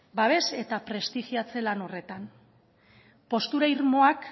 babes eta prestigiatze lan horretan postura irmoak